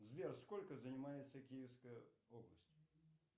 сбер сколько занимается киевская область